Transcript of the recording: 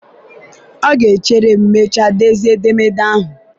ọ ga-echere ma mechaa dezie edemede ahụ.